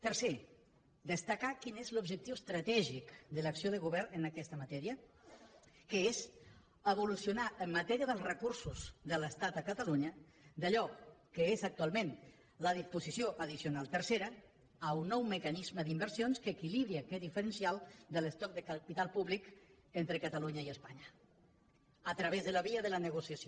tercer destacar quin és l’objectiu estratègic de l’acció de govern en aquesta matèria que és evolucionar en matèria dels recursos de l’estat a catalunya d’allò que és actualment la disposició addicional tercera a un nou mecanisme d’inversions que equilibri aquest diferencial de l’estoc de capital públic entre catalunya i espanya a través de la via de la negociació